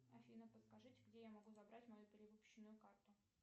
афина подскажите где я могу забрать мою перевыпущенную карту